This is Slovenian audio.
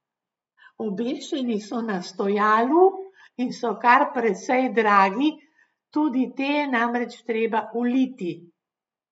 Obešeni so na stojalu in so kar precej dragi, tudi te je namreč treba uliti.